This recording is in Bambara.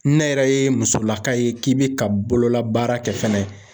Ne yɛrɛ ye musolaka ye k'i bɛ ka bololabaara kɛ fɛnɛ